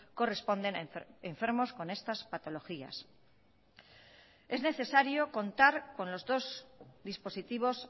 corresponden a enfermos con estas patologías es necesario contar con los dos dispositivos